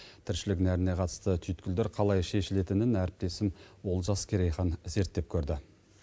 тіршілік нәріне қатысты түйіткелдер қалай шешілетінін әріптесім олжас керейхан зерттеп көрді